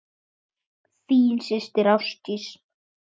Þín systir Ásdís.